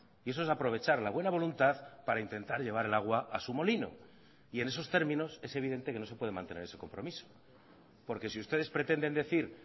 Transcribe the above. y eso es aprovechar la buena voluntad para intentar llevar el agua a su molino y en esos términos es evidente que no se puede mantener ese compromiso porque si ustedes pretenden decir